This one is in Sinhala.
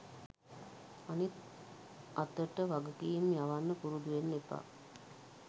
අතින් අතට වගකීම් යවන්න පුරුදු වෙන්න එපා